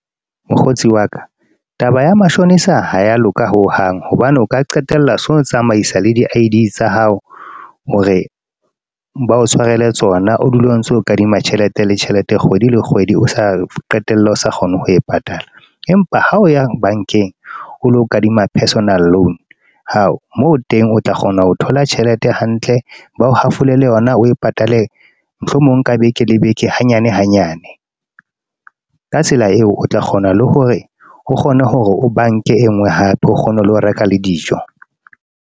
Mokgotsi wa ka, taba ya mashonisa ha ya loka ho hang. Hobane o ka qetella so tsamaisa le di-I_D tsa hao, hore ba o tshwarele tsona. O dule o ntso kadima tjhelete le tjhelete, kgwedi le kgwedi o sa qetelle o sa kgone ho e patala. Empa ha o yang bank-eng, o lo kadima personal loan. Hao! Moo teng o tla kgona ho thola tjhelete hantle, bao hafolele yona o patale. Mohlomong nka beke le beke hanyane hanyane. Ka tsela eo, o tla kgona le hore o kgone hore o banke e nngwe hape o kgone ho lo reka le dijo.